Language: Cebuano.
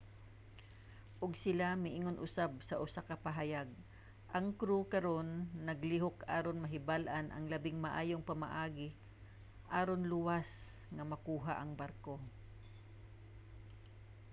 ug sila miingon usab sa usa ka pahayag ang crew karon naglihok aron mahibal-an ang labing maayong pamaagi aron luwas nga makuha ang barko